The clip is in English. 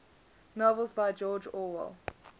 novels by george orwell